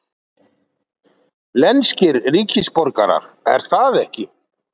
lenskir ríkisborgarar, er það ekki?